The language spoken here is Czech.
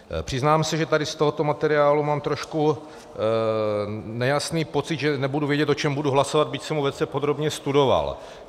Přiznám se, že tady z tohoto materiálu mám trošku nejasný pocit, že nebudu vědět, o čem budu hlasovat, byť jsem ho velice podrobně studoval.